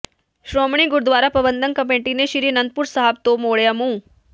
Shiromani Gurdwara Prabandhak committee ਨੇ ਸ੍ਰੀ ਅਨੰਦਪੁਰ ਸਾਹਿਬ ਤੋਂ ਮੋੜਿਆ ਮੂੰਹ